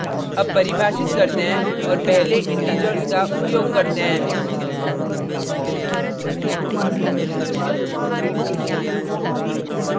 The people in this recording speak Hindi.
अब परिभाषित करते हैं और पहले integers का उपयोग करते हैं